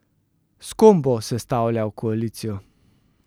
S kom bo sestavljal koalicijo?